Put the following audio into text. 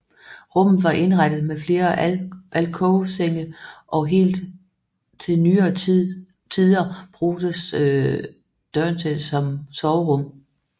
Rummet var indrettet med flere alkovsenge og helt til nyere tider brugtes dørnset som soverum